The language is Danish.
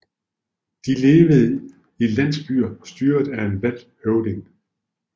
De levede i landsbyer styret af en valgt høvding